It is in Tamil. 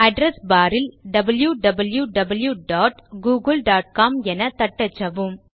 அட்ரெஸ் பார் இல் wwwgooglecomஎன தட்டச்சவும்